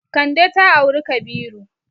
Kande ta auri Kabiru.